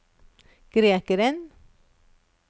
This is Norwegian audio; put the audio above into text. grekeren